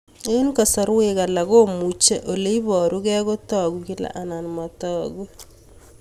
Eng'kasarwek alak komuchi ole parukei kotag'u kila anan matag'u